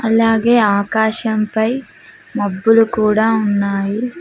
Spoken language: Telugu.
అలాగే ఆకాశంపై మబ్బులు కూడా ఉన్నాయి.